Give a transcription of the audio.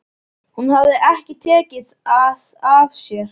Hún hafði ekki tekið það af sér.